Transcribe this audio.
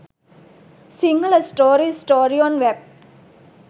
sinhala story story on wap